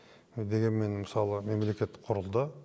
дегенмен мысалы мемлекет құрылды